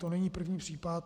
To není první případ.